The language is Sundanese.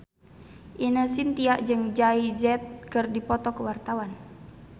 Ine Shintya jeung Jay Z keur dipoto ku wartawan